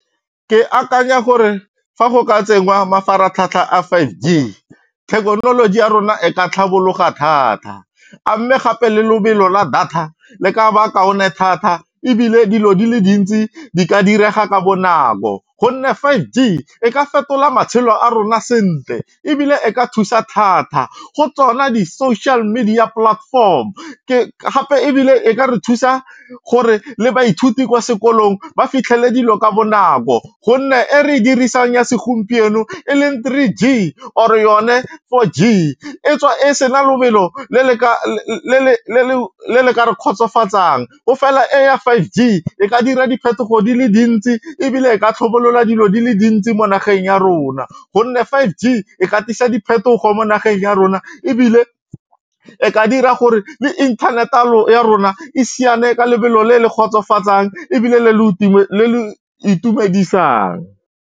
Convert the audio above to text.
Ke akanya gore fa go ka tsengwa mafaratlhatlha a five G, thekenoloji ya rona e ka tlhabologa thata a mme gape le lobelo la data le ka ba kaone thata ebile dilo dile dintsi di ka direga ka bonako gonne five G e ka fetola matshelo a rona sentle ebile e ka thusa thata go tsona di-social media platform gape ebile e ka re thusa gore le baithuti kwa sekolong ba fitlhele dilo ka bonako gonne e re dirisang ya segompieno e leng three G or yone four G e tswa e sena lobelo le le ka re kgotsofatsang o fela e ya five G e ka dira diphetogo di le dintsi ebile e ka tlhabolola dilo di le dintsi mo nageng ya rona gonne five G e ka tlisa diphetogo mo nageng ya rona ebile e ka dira gore le inthanete ya rona e siane ka lebelo le le kgotsofatsang ebile le le itumedisang.